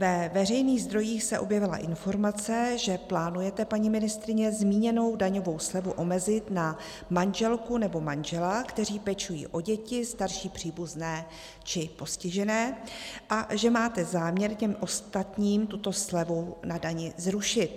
Ve veřejných zdrojích se objevila informace, že plánujete, paní ministryně, zmíněnou daňovou slevu omezit na manželku nebo manžela, kteří pečují o děti, starší příbuzné či postižené, a že máte záměr těm ostatním tuto slevu na dani zrušit.